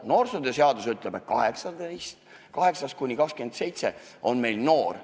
Noorsootöö seadus ütleb, et vanuses 7–26 inimene on noor.